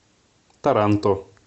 таранто